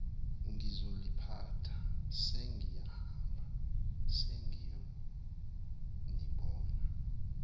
ngizoliphatha sengiyahamba sengiyonibona